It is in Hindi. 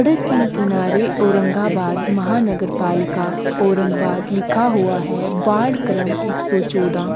सड़क के किनारे औरंगाबाद महानगरपालिका औरंगबाद लिखा हुआ है वार्ड क्रम एक सो चोदा --